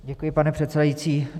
Děkuji, pane předsedající.